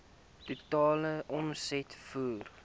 totale omset voor